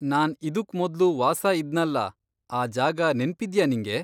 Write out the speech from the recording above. ನಾನ್ ಇದುಕ್ ಮೊದ್ಲು ವಾಸ ಇದ್ನಲ್ಲ, ಆ ಜಾಗ ನೆನ್ಪಿದ್ಯಾ ನಿಂಗೆ?